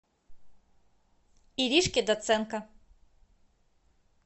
иришке доценко